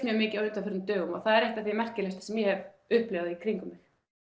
mikið á undanförnum dögum og það er það merkilegasta sem ég hef upplifað í kringum mig